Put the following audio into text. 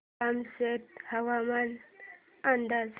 कामशेत हवामान अंदाज